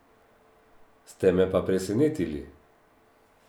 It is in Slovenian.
Ste me pa presenetili.